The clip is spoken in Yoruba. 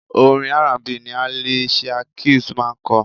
Orin R&B ni Alicia Keys máa ń kọ.